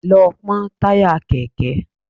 Lọ pọ́n táyà Kẹ̀kẹ́!